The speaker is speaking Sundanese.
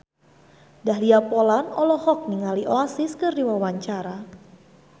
Dahlia Poland olohok ningali Oasis keur diwawancara